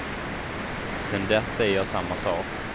Sen dess säger jag samma sak.